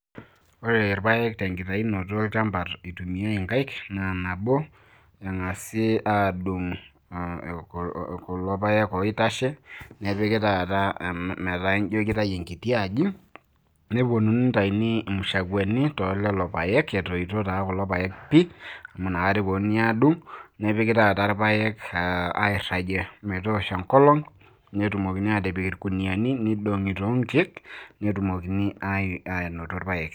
ore irpaek te nkitayunoto olchampa eitumiyae inkaik, naa nabo neng'asi aadung'kulo paek oitashe nepiki taata, metaa ijo kitayu enkiti aji, nitayuni imushakwani etoito taa kulo paek pii. amu ina kata epuonunui aadung',nepiki taata irpaek metoosho enkolong'.netumokini aatipik irkuniyiani neidong'i too nkeek. netumokini aanoto irpaek.